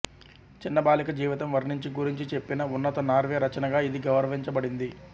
చిన్న బాలిక జీవితం వర్ణించి గురించి చెప్పిన ఉన్నత నార్వే రచనగా ఇది గౌరవించబడింది